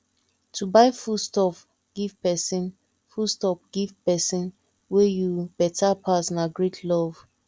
to buy foodstuff give pesin foodstuff give pesin wey you beta pass na great love